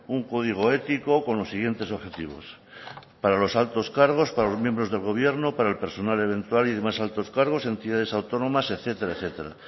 un código ético con los siguientes objetivos para los altos cargos para los miembros del gobierno para el personal eventual y demás altos cargos entidades autónomas etcétera etcétera